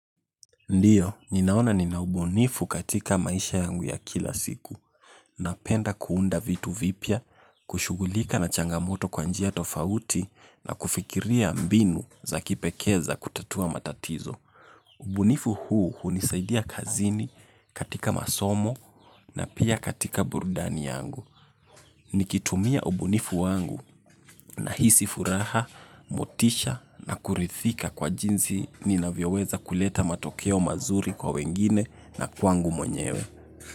Ndiyo, ninaona ninaubunifu katika maisha yangu ya kila siku. Napenda kuunda vitu vipya, kushugulika na changamoto kwa njia tofauti na kufikiria mbinu za kipekee za kutatua matatizo. Ubunifu huu hunisaidia kazini katika masomo na pia katika burudani yangu. Nikitumia ubunifu wangu nahisi furaha, motisha na kuridhika kwa jinsi ninavyoweza kuleta matokeo mazuri kwa wengine na kwangu mwenyewe.